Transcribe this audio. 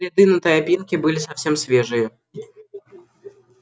следы на тропинке были совсем свежие